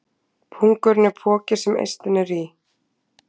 Pungurinn er poki sem eistun eru í.